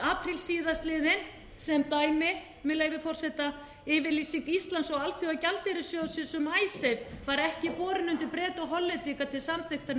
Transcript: apríl síðastliðinn sem dæmi með leyfi forseta yfirlýsing íslands og alþjóðagjaldeyrissjóðsins um icesave var ekki borin undir breta og hollendinga til samþykktar né